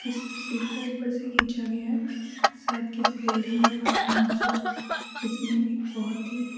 इस तस्वीर को ऊपर से खींचा गया है शायद किसी बिल्डिंग या बालकनी से इसमें एक बहुत ही --